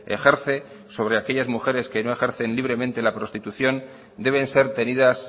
ejerce sobre aquellas mujeres que no ejercen libremente la prostitución deben ser tenidas